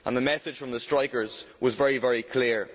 The message from the strikers was very, very clear.